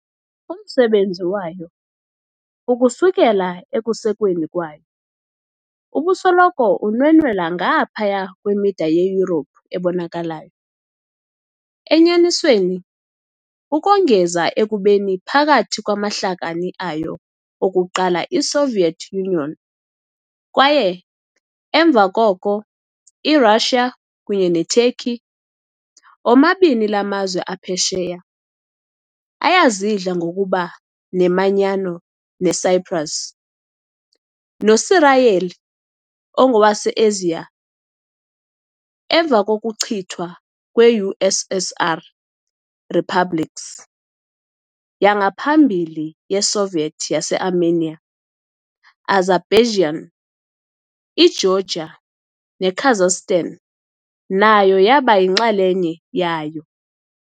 Umsebenzi wayo, ukusukela ekusekweni kwayo, ubusoloko unwenwela ngaphaya kwemida yeYurophu ebonakalayo - enyanisweni, ukongeza ekubeni phakathi kwamahlakani ayo okuqala iSoviet Union, kwaye, emva koko, iRussia, kunye neTurkey, omabini la mazwe aphesheya, ayazidla ngokuba nemanyano yeCyprus. NoSirayeli, engowaseAsiya, emva kokuchithwa kwe-USSR, i-republics yangaphambili yeSoviet yaseArmenia, iAzerbaijan, iGeorgia neKazakhstan nayo yaba yinxalenye yayo.